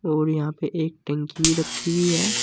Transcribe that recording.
और यहां पे एक टंकी भी रखी हुई है।